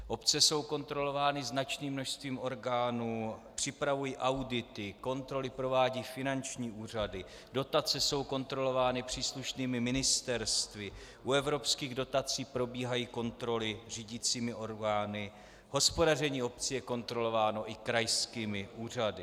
Obce jsou kontrolovány značným množstvím orgánů, připravují audity, kontroly provádějí finanční úřady, dotace jsou kontrolovány příslušnými ministerstvy, u evropských dotací probíhají kontroly řídicími orgány, hospodaření obcí je kontrolováno i krajskými úřady.